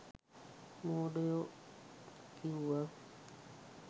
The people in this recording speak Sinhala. මෝඩයො කිවුව.